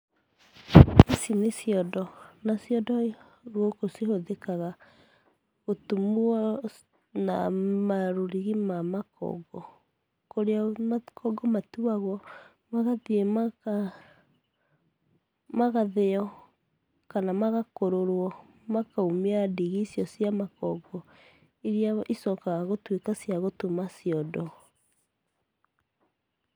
Ici nĩ ciondo, na ciondo gũkũ cihũthĩkaga gũtumwo na marũrigi ma makongo, kũrĩa makongo matuagwo magathiĩ magathĩyo kana magakũrũrwo makaumia ndigi icio cia makongo, iria icokaga gũtuĩka cia gũtuma ciondo.